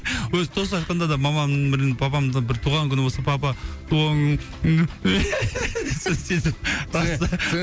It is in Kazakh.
өзі тост айтқанда да маманың бір папамның бір туған күні болса папа туған күнің